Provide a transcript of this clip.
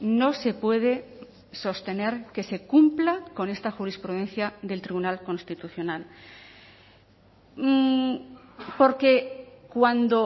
no se puede sostener que se cumpla con esta jurisprudencia del tribunal constitucional porque cuando